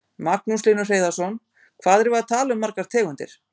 Magnús Hlynur Hreiðarsson: Hvað erum við að tala um margar tegundir?